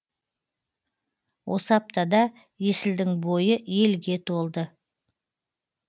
осы аптада есілдің бойы елге толды